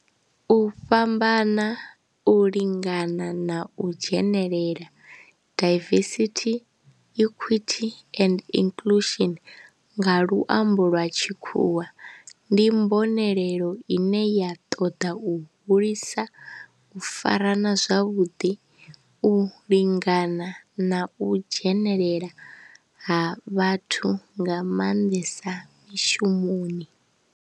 U fhambana, u lingana na u dzhenelela, diversity, equity and inclusion nga luambo lwa tshikhuwa, ndi mbonelelo ine ya toda u hulisa u farana zwavhudi, u lingana na u dzhenelela ha vhathu nga manḓesa mishumoni.